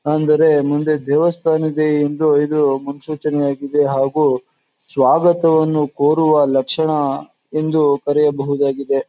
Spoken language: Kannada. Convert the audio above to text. ನಾನ್ ಬೇರೆ ಮುಂದೆ ದೇವಸ್ಥಾನ ಇದೆ ಎಂದು ಇದು ಮುನ್ಸೂಚನೆಆಗಿದೆ ಹಾಗು ಸ್ವಾಗತವನ್ನು ಕೋರುವ ಲಕ್ಷಣ ಎಂದು ಕರೆಯಬಹುದು ಆಗಿದೆ.